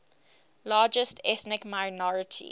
largest ethnic minority